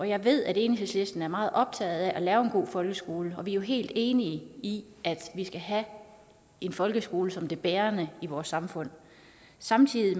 jeg ved at enhedslisten er meget optaget af at lave en god folkeskole og vi er jo helt enige i at vi skal have en folkeskole som det bærende i vores samfund samtidig